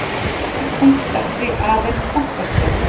Þessir punktar því aðeins þankastrik.